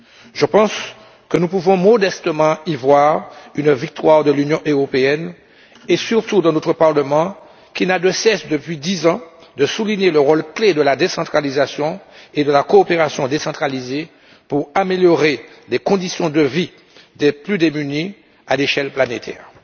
Je pense que nous pouvons modestement y voir une victoire de l'Union européenne et surtout de notre Parlement, qui n'a de cesse, depuis 10 ans, de souligner le rôle clé de la décentralisation et de la coopération décentralisée pour améliorer les conditions de vie des plus démunis à l'échelle planétaire.